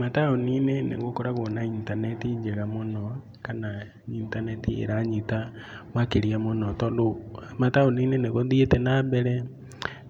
Mataũninĩ nĩ gũkoragwo na intaneti njega mũno, kana intaneti ĩranyota makĩria mũno tondũ mataũninĩ nĩgũthiĩte na mbere